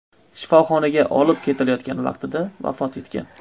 shifoxonaga olib ketilayotgan vaqtida vafot etgan.